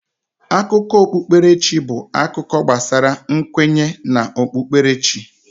Akụkọ okpukpere chi bụ akụkọ gbasara nkwenye na okpukperechi.